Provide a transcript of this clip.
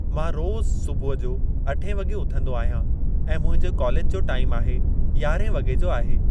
मां रोज़ु सुबुहु जो अठे वॻे उथंदो आहियां ऐं मुंहिंजो कॉलेज जो टाइम आहे यारहां वॻे जो आहे।